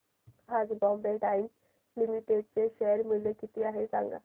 आज Bombay Dyeing Limited चे share मूल्य किती आहे सांगा